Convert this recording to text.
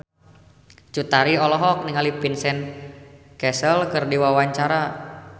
Cut Tari olohok ningali Vincent Cassel keur diwawancara